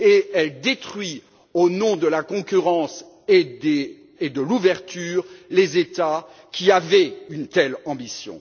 Elle détruit, au nom de la concurrence et de l'ouverture, les États qui avaient une telle ambition.